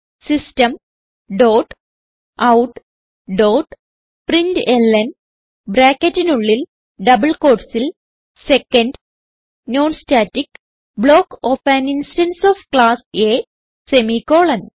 system dot out dot println ബ്രാക്കറ്റിനുള്ളിൽ double quotesൽ second non static block of an instance of class A semicolon